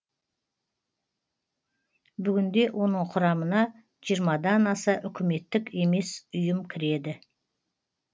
бүгінде оның құрамына жиырмадан аса үкіметтік емес ұйым кіреді